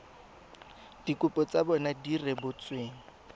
dikopo tsa bona di rebotsweng